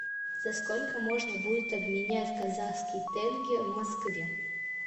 за сколько можно будет обменять казахский тенге в москве